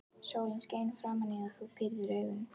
Sólin skein framan í þig og þú pírðir augun.